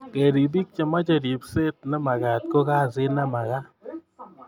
kerip biko che meche ripset ne magaat ko kasiit ne magaat